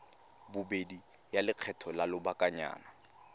bobedi ya lekgetho la lobakanyana